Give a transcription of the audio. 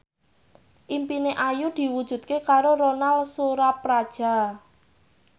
impine Ayu diwujudke karo Ronal Surapradja